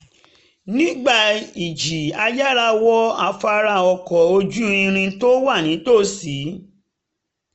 nígbà ìjì a yára wọ afárá ọkọ̀ ojú-irin tó wà nítòsí